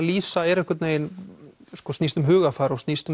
lýsa er einhvern veginn snýst um hugarfar og snýst